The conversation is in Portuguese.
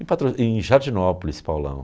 Em Patro em Jardinópolis, Paulão.